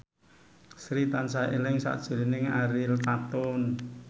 Sri tansah eling sakjroning Ariel Tatum